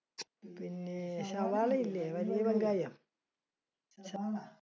പിന്നെ, സവാള ഇല്ലേ വലിയ വെങ്കായം.